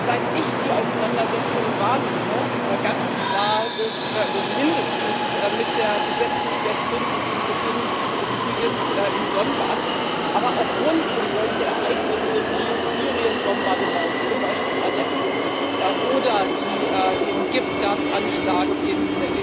Seit ich die Auseinandersetzung wahrnehme ganz klar mindestens mit der Besetzung der Krim und dem Beginn des Krieges im Donbass, aber auch rund um solche Ereignisse wie Syrien Bombardements, zum Beispiel Aleppo, oder den Giftgasanschlag in